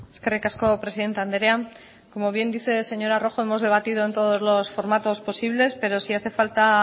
eskerrik asko presidente andrea como bien dice señora rojo hemos debatido en todos los formatos posibles pero si hace falta